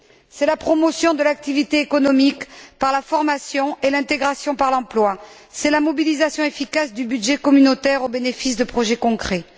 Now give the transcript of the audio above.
c'est la promotion de l'activité économique par la formation et l'intégration par l'emploi, c'est la mobilisation efficace du budget communautaire au bénéfice de projets concrets.